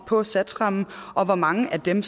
for satsrammen og hvor mange af dem